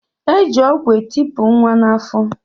E ji ọgwụ etepu nwa n'afọ